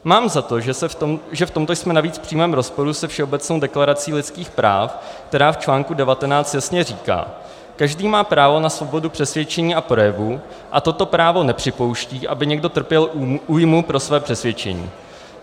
Mám za to, že v tomto jsme navíc v přímém rozporu se Všeobecnou deklaraci lidských práv, která v článku 19 jasně říká: každý má právo na svobodu přesvědčení a projevu a toto právo nepřipouští, aby někdo trpěl újmu pro své přesvědčení.